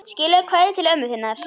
Skilaðu kveðju til ömmu þinnar.